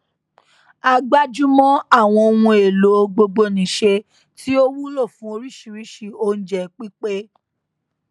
a gbájúmọ àwọn ohun èlò gbogbonìṣe tí ó wúlò fún oríṣiríṣi oúnjẹ pípé